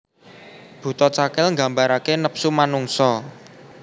Buta Cakil nggambarake nepsu manungsa